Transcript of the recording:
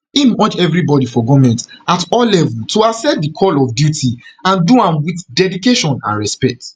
im urge evribody for goment at all level to accept di call of duty and do am wit dedication and and respect